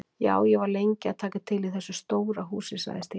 Já, ég var lengi að taka til í þessu stóra húsi sagði Stína.